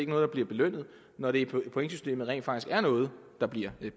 noget der bliver belønnet når det i pointsystemet rent faktisk er noget der bliver